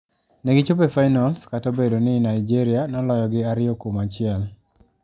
Ne gi chopo e finals kat obedo ni Nigeria noloyo gi ari kuom achiel.